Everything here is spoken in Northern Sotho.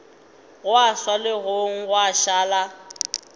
gwa swa legong gwa šala